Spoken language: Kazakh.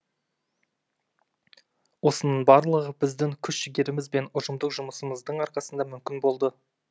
осының барлығы біздің күш жігеріміз бен ұжымдық жұмысымыздың арқасында мүмкін болды